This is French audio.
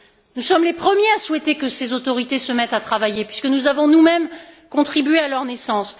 Nous sommes les premiers à souhaiter que ces autorités se mettent à travailler puisque nous avons nous mêmes contribué à leur naissance